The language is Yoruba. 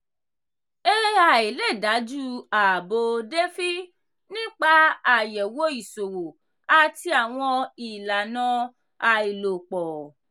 "ai" lè dájú ààbò "defi" nípa àyẹ̀wò ìṣòwò àti àwọn ìlànà aláìlòpọ̀.